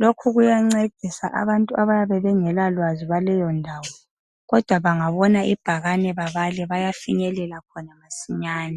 Lokhu kuyancedisa abantu abayabe bengelalwazi lwaleyo ndawo kodwa bangabona ibhakane babale bayafinyelela khona masinyane.